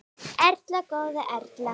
Erla góða Erla.